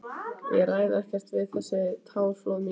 Ég ræð ekkert við þessi táraflóð mín.